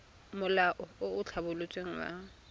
molao o o tlhabolotsweng wa